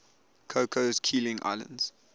cocos keeling islands